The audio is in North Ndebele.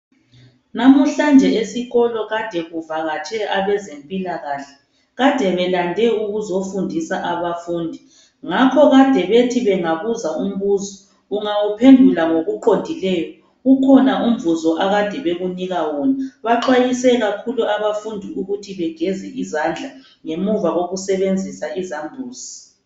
Namuhlanje esikolo kade kuvakatshe abezempilakahle. Kade belande ukuzofundisa abafundi. Ngakho kade bethi bengabuza umbuzo ungawuphendula ngokuqondileyo ubukhona umvuzo ekade bekunika wona. Baxwayise kakhulu abafundi ukuthi begeze izandla ngemuva kokusebwnzisa izambuzi.